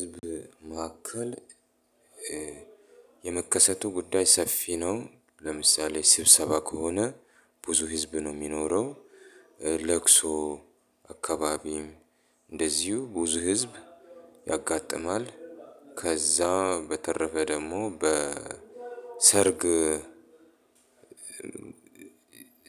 ህዝብ መካከል የመከሰቱ ጉዳይ ሰፊ ነው ለምሳሌ ስብሰባ ከሆነ ብዙ ህዝብ ነው የሚኖረው ለቅሶ አካባቢም እንደዚሁ ብዙ ህዝብ ያጋጥማል ከዛ በተረፈ ደግሞ በሰርግ